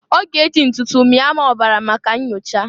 Ọ g'e ji ntụtụ mịa m ọbara maka nnyocha.